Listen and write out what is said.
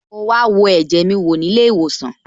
Mo wa wo ẹ̀jẹ̀ mi wò ní ilé ìwòsàn